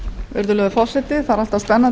virðulegur forseti það er alltaf